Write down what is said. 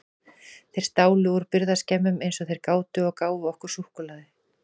Þeir stálu úr birgðaskemmum eins og þeir gátu og gáfu okkur súkkulaði.